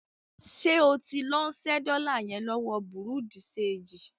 Ṣé o tí ń lọ ṣẹ́ dọ́lá yẹn lọ́wọ bùrúdì ṣeègì?